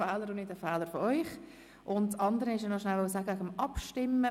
Die zweite Mitteileilung betrifft die Abstimmung.